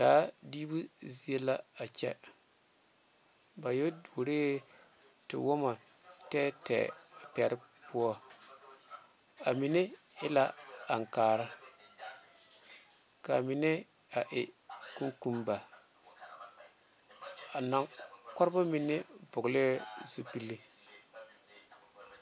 Daa big zie la a kyɛ ba yɛ tuoro tee wɔmɔ tɛɛtɛɛ poɔ a mine e la aŋekaare ka a mine e kokoba kɔre ba mine vɔle la zupele.